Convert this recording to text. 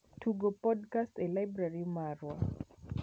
Tugo podkast e laibrari marwa